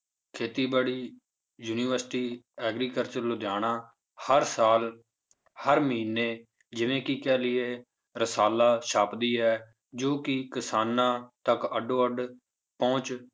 ਖੇਤੀਬਾੜੀ university agriculture Ludhiana ਹਰ ਸਾਲ ਹਰ ਮਹੀਨੇ ਜਿਵੇਂ ਕਿ ਕਹਿ ਲਈਏ ਰਸ਼ਾਲਾ ਛਾਪਦੀ ਹੈ ਜੋ ਕਿ ਕਿਸਾਨਾਂ ਤੱਕ ਅੱਡੋ ਅੱਡ ਪਹੁੰਚ